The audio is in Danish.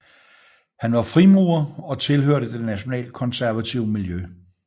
Han var frimurer og tilhørte det nationalkonservative miljø